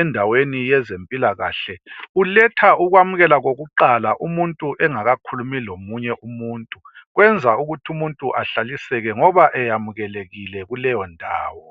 endaweni yezempilakahle, uletha ukwamkela kokuqala umuntu engakakhulumi lomunye umuntu. Kwenza ukuthi umuntu ahlaliseke ngoba eyamkelekile kuleyo ndawo.